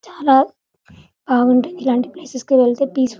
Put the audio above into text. చాలా బాగుంటుంది ఇలాంటి ప్లేసెస్ కి వెళ్తే పీస్ఫుల్ --